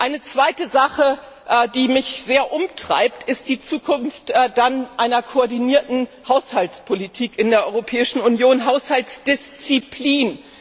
Eine zweite Sache, die mich sehr umtreibt, ist die Zukunft einer koordinierten Haushaltspolitik in der Europäischen Union, die Haushaltsdisziplin.